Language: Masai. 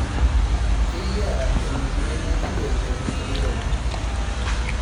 keyiaa eneikununo enkijiape tenairobi